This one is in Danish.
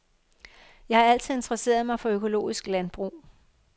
Jeg har altid interesseret mig for økologisk landbrug.